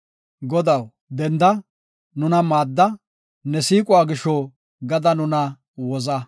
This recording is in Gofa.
Godaw, denda, nuna maadda; ne siiquwa gisho gada nuna woza.